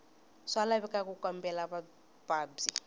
swa laveka ku kambela mavabyi